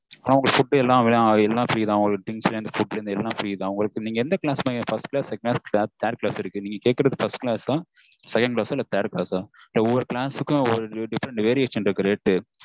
food things எல்லாமே free தான் உங்ககிட்ட நீங்க எந்த class mam expect பண்றீங்க first class இருக்கு second class இருக்கு third class இருக்கு நீங்க கேட்குறது first class ஆ second class third class ஒவ்வொரு class க்கு ஒரு variation இருக்கு rate